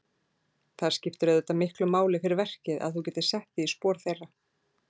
Það skiptir auðvitað miklu máli fyrir verkið að þú getir sett þig í spor þeirra?